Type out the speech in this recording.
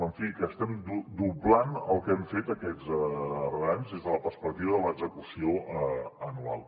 en fi estem doblant el que hem fet aquests darrers anys des de la perspectiva de l’execució anual